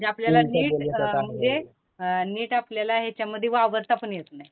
म्हणजे आपल्याला नीट अ, म्हणजे नीट आपल्याला याच्यामध्ये वावरता पण येत नाही.